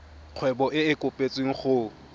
kgwebo e e kopetswengcc go